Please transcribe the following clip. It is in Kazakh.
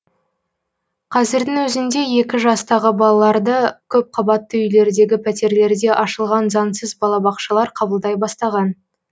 қазірдің өзінде екі жастағы балаларды көпқабатты үйлердегі пәтерлерде ашылған заңсыз балабақшалар қабылдай бастаған